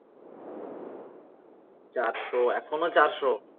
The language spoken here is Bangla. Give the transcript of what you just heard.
চারশো এখনও চারশো